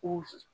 Ko